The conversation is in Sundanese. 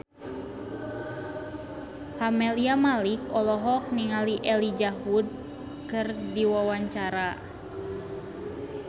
Camelia Malik olohok ningali Elijah Wood keur diwawancara